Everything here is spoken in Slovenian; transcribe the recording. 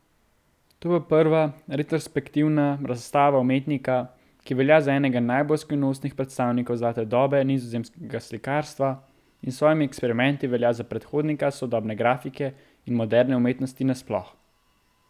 To bo prva retrospektivna razstava umetnika, ki velja za enega najbolj skrivnostnih predstavnikov zlate dobe nizozemskega slikarstva in s svojimi eksperimenti velja za predhodnika sodobne grafike in moderne umetnosti nasploh.